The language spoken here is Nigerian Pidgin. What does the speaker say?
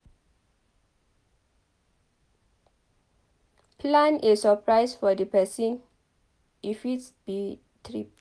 plan a suprise for di person e fit be trip